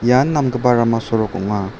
ian namgipa rama sorok ong·a.